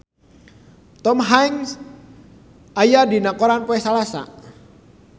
Tom Hanks aya dina koran poe Salasa